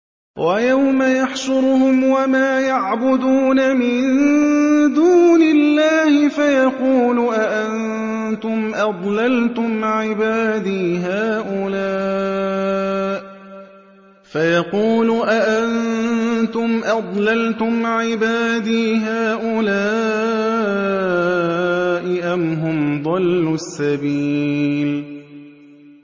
وَيَوْمَ يَحْشُرُهُمْ وَمَا يَعْبُدُونَ مِن دُونِ اللَّهِ فَيَقُولُ أَأَنتُمْ أَضْلَلْتُمْ عِبَادِي هَٰؤُلَاءِ أَمْ هُمْ ضَلُّوا السَّبِيلَ